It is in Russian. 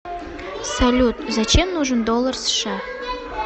салют зачем нужен доллар сша